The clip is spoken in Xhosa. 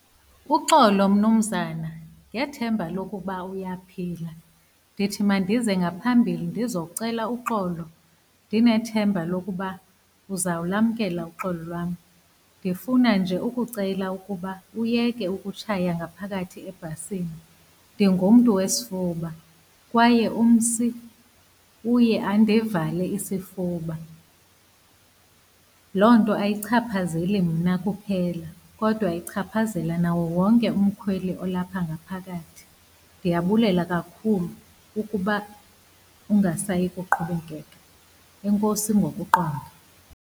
Uxolo, mnumzana ngethemba lokuba uyaphila. Ndithi mandize ngaphambili ndizocela uxolo ndinethemba lokuba uzawulamkela uxolo lwam. Ndifuna nje ukucela ukuba uyeke ukutshaya ngaphakathi ebhasini. Ndingumntu wesifuba kwaye umsi uye andivale isifuba, loo nto ayichaphazeli mna kuphela kodwa ichaphazela nawo wonke umkhweli olapha ngaphakathi. Ndiyabulela kakhulu ukuba ungasayi kuqhubekeka. Enkosi ngokuqonda.